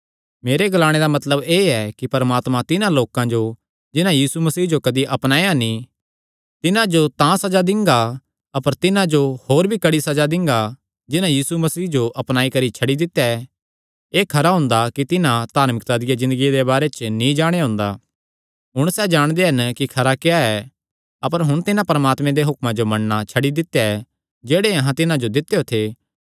मेरे ग्लाणे दा मतलब एह़ ऐ कि परमात्मा तिन्हां लोकां जो जिन्हां यीशु मसीह जो कदी अपनाया नीं तिन्हां जो तां सज़ा दिंगा ई अपर तिन्हां जो तां होर भी कड़ी सज़ा दिंगा जिन्हां यीशु मसीह जो अपनाई करी छड्डी दित्या ऐ एह़ खरा हुंदा कि तिन्हां धार्मिकता दी ज़िन्दगिया दे बारे च नीं जाणेया हुंदा हुण सैह़ जाणदे हन कि खरा क्या ऐ अपर हुण तिन्हां परमात्मे दे हुक्मां जो मन्नणा छड्डी दित्या ऐ जेह्ड़े अहां तिन्हां जो दित्यो थे